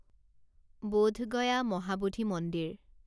বোধ গয়া মহাবোধি মন্দিৰ